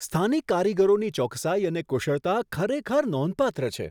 સ્થાનિક કારીગરોની ચોકસાઈ અને કુશળતા ખરેખર નોંધપાત્ર છે.